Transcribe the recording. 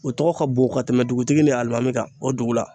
O tɔgɔ ka bon ka tɛmɛ dugutigi ni alimami kan o dugu la .